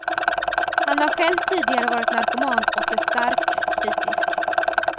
Han har själv tidigare varit narkoman och är starkt kritisk.